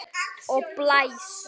Og blæs.